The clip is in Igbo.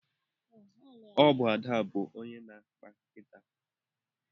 Ọ bụ Ada bụ onye na-akpa nkịta.